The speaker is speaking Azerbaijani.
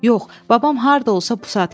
Yox, babam harda olsa bu saat gələcək.